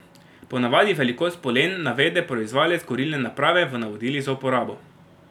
Ponavadi velikost polen navede proizvajalec kurilne naprave v navodilih za uporabo.